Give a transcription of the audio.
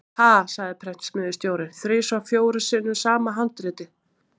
Ha, sagði prentsmiðjustjórinn: þrisvar fjórum sinnum sama handritið?